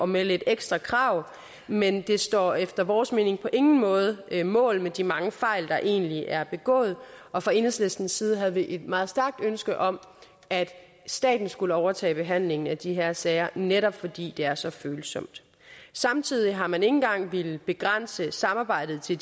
med lidt ekstra krav men det står efter vores mening på ingen måde mål med de mange fejl der egentlig er begået og fra enhedslistens side havde vi et meget stærkt ønske om at staten skulle overtage behandlingen af de her sager netop fordi det er så følsomt samtidig har man ikke engang villet begrænse samarbejdet til